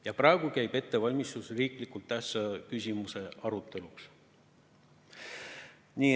Ja praegu käib ettevalmistus riiklikult tähtsa küsimuse aruteluks.